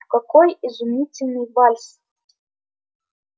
какой изумительный вальс